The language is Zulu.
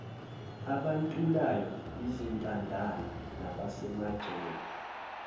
abantulayo izintandane nabasemajele